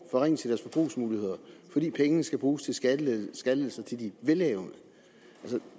fordi pengene skal bruges til skattelettelser til de velhavende